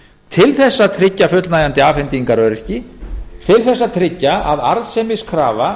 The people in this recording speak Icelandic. til að tryggja fullnægjandi afhendingaröryggi til að tryggja að arðsemiskrafa